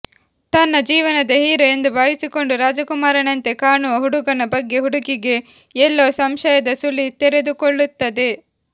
ತನ್ನ ಜೀವನದ ಹೀರೋ ಎಂದು ಭಾವಿಸಿಕೊಂಡು ರಾಜಕುಮಾರನಂತೆ ಕಾಣುವ ಹುಡುಗನ ಬಗ್ಗೆ ಹುಡುಗಿಗೆ ಎಲ್ಲೋ ಸಂಶಯದ ಸುಳಿ ತೆರೆದುಕೊಳ್ಳುತ್ತದೆ